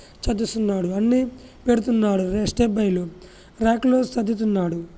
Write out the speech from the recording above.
చరిరేస్తున్నాడు అన్ని పెడ్తున్నాడు రాక్ లో సర్దుతున్నాడు